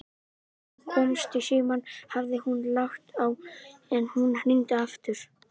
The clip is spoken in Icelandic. Þegar hann komst í símann hafði hún lagt á, en hún hringdi aftur.